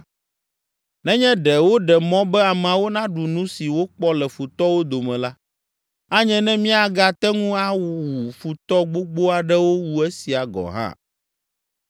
Nenye ɖe woɖe mɔ be ameawo naɖu nu si wokpɔ le futɔwo dome la, anye ne míagate ŋu awu futɔ gbogbo aɖewo wu esia gɔ̃ hã.”